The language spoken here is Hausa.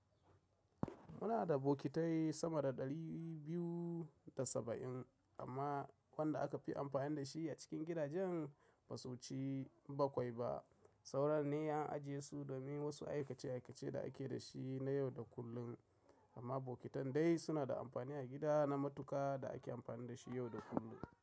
Muna da bokitai sama da ɗari biyu da saba'in amma wanda aka fi amfani da shi a cikin gidajen ba su ci baƙwai ba. Sauran ne an ajiye su domin wasu aikace-aikace da ake da shi na yau da kullum, amma bokitan dai suna da amfani a gida na matuka da ake amfani da shi yau da kullum.